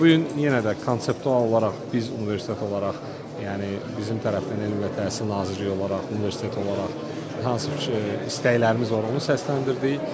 Bu gün yenə də konseptual olaraq biz universitet olaraq, yəni bizim tərəfdən Elmi və Təhsil Nazirliyi olaraq, universitet olaraq hansı istəklərimiz var, onu səsləndirdik.